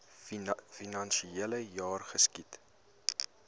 finansiele jaar geskied